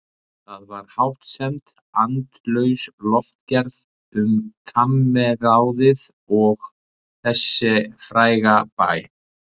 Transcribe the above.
Það var hástemmd, andlaus lofgerð um kammerráðið og þess fræga bæ.